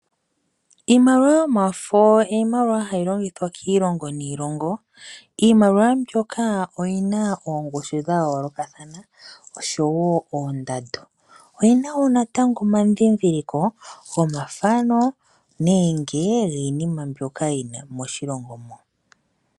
Iimaliwa yomafo iimaliwa hayi longithwa kiilongo niilongo . Iimaliwa mbyoka oyina oongushu dhayoolokathana oshowoo oondando. Oyina wo omandhindhiliko gomafo nenge giinima mbyoka yili moshilongo.